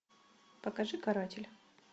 покажи каратель